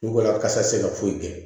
Wala kasa tɛ se ka foyi kɛ